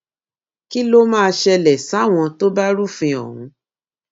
kí ló máa ṣẹlẹ sáwọn tó bá rúfin ọhún